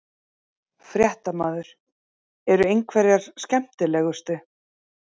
Fréttamaður: Eru einhverjar skemmtilegustu?